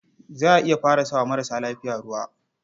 Za a iya fara sa wa maras lafiya ruwa.